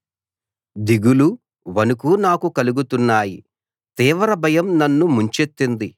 దిగులు వణుకు నాకు కలుగుతున్నాయి తీవ్ర భయం నన్ను ముంచెత్తింది